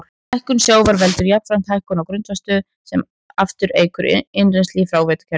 Hækkun sjávar veldur jafnframt hækkun á grunnvatnsstöðu sem aftur eykur innrennsli í fráveitukerfi.